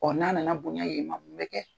Ɔ n'a na na bonya yen ma mun bɛ kɛ.